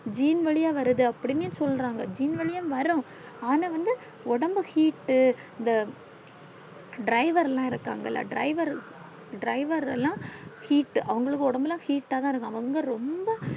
gene வழியா வரது அப்டின்னு சொல்றாங்க gene வழியா வரும் ஆனா வந்து ஒடம்பு heat இந்த driver லா இருக்கங்களா driver driver ல்லா heat அவுங்களுக்கு ஒடம்புல்லா ரொம்ப heat தான் இருக்கும்